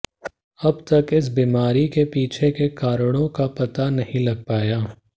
अब तक इस बीमारी के पीछे के कारणों का पता नहीं लग पाया